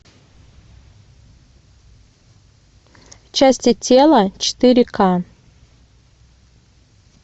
части тела четыре ка